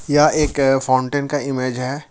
यह एक फाउंटेन का इमेज है।